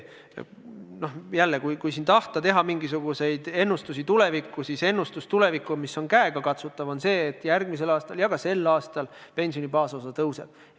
Jällegi, kui siin tahta teha mingisuguseid tulevikuennustusi, siis ennustus tuleviku kohta, mis on käegakatsutav, on see, et järgmisel aastal ja ka sel aastal pensioni baasosa tõuseb.